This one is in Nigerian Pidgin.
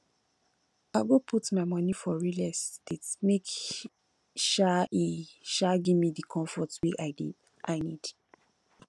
i go put my moni for real estate make um e um give me di comfort wey i need